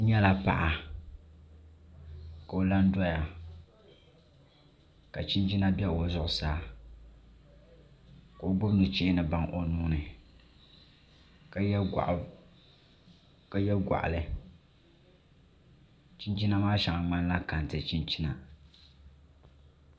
N nyɛla paɣa ka o la n doya ka chinchina bɛ o zuɣusaa ka o gbubi nuchee ni baŋ o nuuni ka yɛ goɣali chinchina maa shɛŋa ŋmanila kɛntɛ chinchina